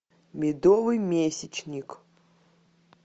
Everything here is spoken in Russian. медовый месячник